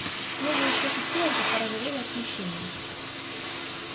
смуглые щеки стюарта порозовели от смущения